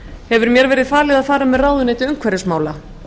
hefur mér verið falið að fara með ráðuneyti umhverfismála